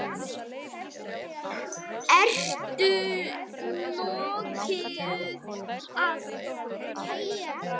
Ertu nokkuð að keyra?